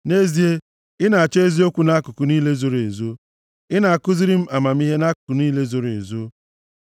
Nʼezie, ị na-achọ eziokwu nʼakụkụ niile zoro ezo; ị na-akụziri m amamihe nʼakụkụ niile zoro ezo.